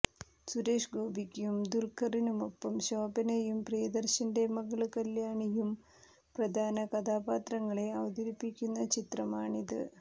സുരേഷ് ഗോപിക്കും ദുല്ഖറിനുമൊപ്പം ശോഭനയും പ്രിയദര്ശന്റെ മകള് കല്യാണിയും പ്രധാന കഥാപാത്രങ്ങളെ അവതരിപ്പിക്കുന്ന ചിത്രമാണിത്